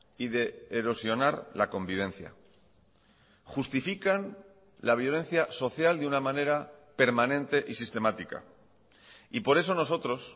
y de erosionar la convivencia justifican la violencia social de una manera permanente y sistemática y por eso nosotros